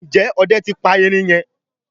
Njé Òde tí pa erin yen?